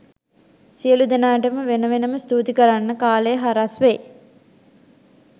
සියළු දෙනාටම වෙන වෙනම ස්තුති කරන්න කාලය හරස් වේ